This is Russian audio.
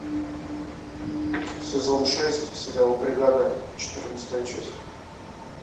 сезон шесть сериал бригада четырнадцатая часть